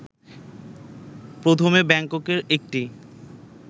প্রথমে ব্যাংককের একটি